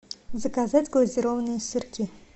заказать глазированные сырки